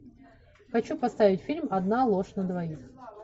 хочу поставить фильм одна ложь на двоих